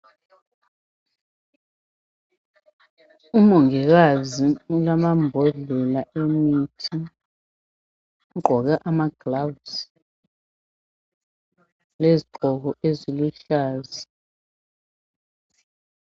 Umongikazi ulamambodlela emithi ugqoke amagilavuzi lezigqoko eziluhlaza.